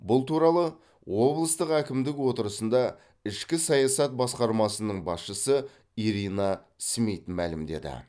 бұл туралы облыстық әкімдік отырысында ішкі саясат басқармасының басшысы ирина смит мәлімдеді